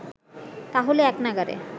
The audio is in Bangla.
তাহলে এক নাগাড়ে